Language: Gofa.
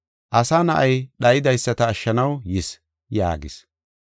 Asa Na7ay dhaydaysata ashshanaw yis” yaagis.